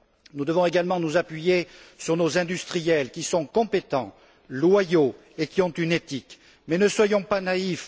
Nous devons également nous appuyer sur nos industriels, qui sont compétents, loyaux, et qui ont une éthique, mais ne soyons pas naïfs.